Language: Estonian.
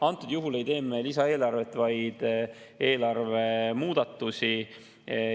Antud juhul ei tee me lisaeelarvet, vaid eelarve muudatusi.